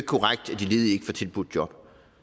korrekt at de ledige tilbudt job